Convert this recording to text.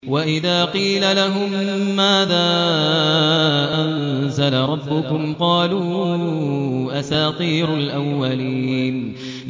وَإِذَا قِيلَ لَهُم مَّاذَا أَنزَلَ رَبُّكُمْ ۙ قَالُوا أَسَاطِيرُ الْأَوَّلِينَ